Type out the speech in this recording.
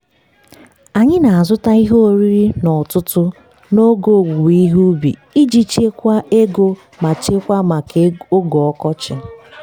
anyị na-azụta ihe oriri n'ọtụtụ n'oge owuwe ihe ubi iji chekwaa ego ma chekwaa maka oge ọkọchị.